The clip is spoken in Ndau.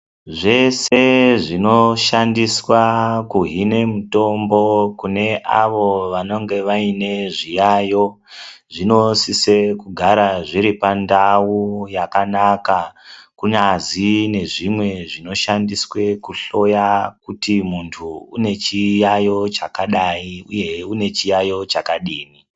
Zvese zvinoshandiswa kuhine mutombo kune avo vanonge vainezviyayo zvinosisekugara zviripandau yakanaka kunyazi nezvimwe zvinoshandiswe kuhloya kuti muntu unechiyayo chakadai uyehe unechiyayo chakadini.